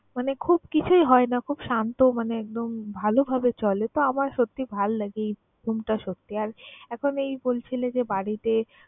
মানে খুব কিছুই হয় না, খুব শান্ত মানে একদম ভালোভাবে চলে। তো, আমার সত্যিই ভাল লাগে এই সত্যি আর এখন এই বলছিলে যে বাড়িতে